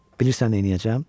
Bilirsən neyləyəcəm?